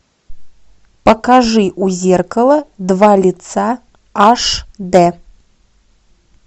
покажи у зеркала два лица аш дэ